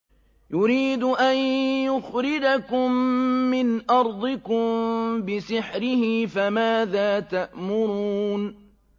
يُرِيدُ أَن يُخْرِجَكُم مِّنْ أَرْضِكُم بِسِحْرِهِ فَمَاذَا تَأْمُرُونَ